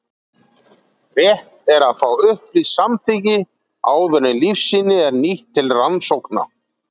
Rétt er að fá upplýst samþykki áður en lífsýni eru nýtt til rannsókna.